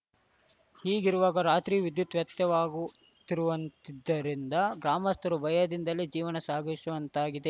ಹೀಗಿರುವಾಗ ರಾತ್ರಿಯೂ ವಿದ್ಯುತ್‌ ವ್ಯತ್ಯಯವಾಗುತ್ತಿರುವುದಿದ್ದರಿಂದ ಗ್ರಾಮಸ್ಥರು ಭಯದಿಂದಲೇ ಜೀವನ ಸಾಗಿಸುವಂತಾಗಿದೆ